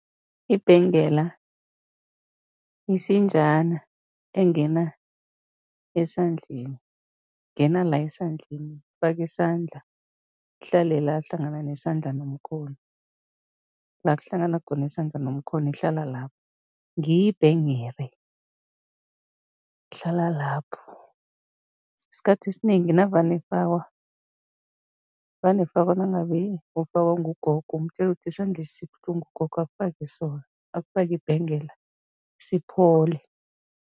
Ibhengela yisinjana engena esandleni, ingena la esandleni, ufaka isandla, ihlale la hlangana nesandla nomkhono, la kuhlangana khona isandla nomkhono, ihlala lapho, ngiyo ibhengere, ihlala lapho. Isikhathi esinengi navane ifakwa, vane ifakwa nangabe ufakwa ngugogo, umtjele ukuthi isandlesi sibuhlungu gogo, akufake sona, akufake ibhengela, siphole.